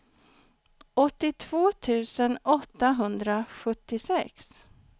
åttiotvå tusen åttahundrasjuttiosex